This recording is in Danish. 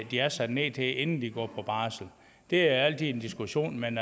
de er sat ned til inden de går på barsel det er altid en diskussion men